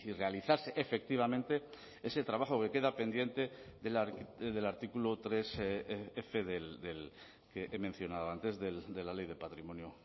realizarse efectivamente ese trabajo que queda pendiente del artículo tres f que he mencionado antes de la ley de patrimonio